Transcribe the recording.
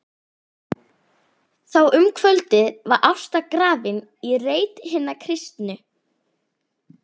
Þá um kvöldið var Ásta grafin í reit hinna kristnu.